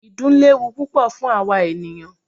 Ìdun léwu púpọ fún àwa ènìyàn.